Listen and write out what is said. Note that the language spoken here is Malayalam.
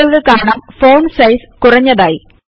താങ്കൾക്ക് കാണാം ഫോണ്ട് സൈസ് കുറഞ്ഞതായി